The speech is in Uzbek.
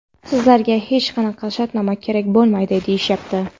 Sizlarga hech qanaqa shartnoma kerak bo‘lmaydi, deyishyapti.